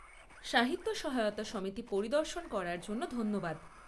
সাহিত্য সহায়তা সমিতি পরিদর্শন করার জন্য ধন্যবাদ।